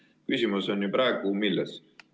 Aga küsimus on praegu milles?